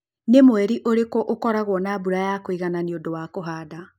nĩ mweri ũrĩkũ ũkoragwo na mbura ya kũigana nĩ undũ wa kũhanda